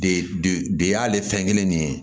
De de y'ale fɛn kelen nin ye